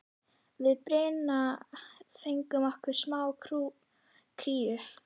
Við Birna fengum okkur smá kríu.